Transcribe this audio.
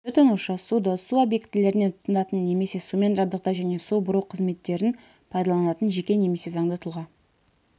тұтынушы суды су объектілерінен тұтынатын немесе сумен жабдықтау және су бұру қызметтерін пайдаланатын жеке немесе заңды тұлға